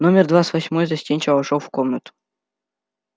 номер двадцать восьмой застенчиво вошёл в комнату